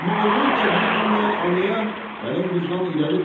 Amma oğul qədri bilməyən anaya gəlin qızdan irəlidir.